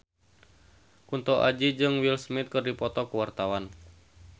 Kunto Aji jeung Will Smith keur dipoto ku wartawan